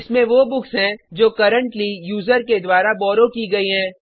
इसमें वो बुक्स हैं जो करन्ट्ली यूजर के द्वारा बॉर्रो की गयी हैं